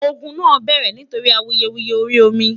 ògún nà bẹrẹ nítorí awuyewuye orí omi